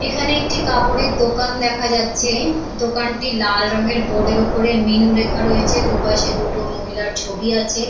এখানে একটি কাপড়ের দোকান দেখা যাচ্ছে দোকানটি লাল রঙের বোর্ডের ওপরে মিনু লেখা রয়েছে দুপাশে দুটো মহিলার ছবি আছে।